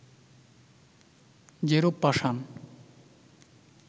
যেরূপ পাষাণ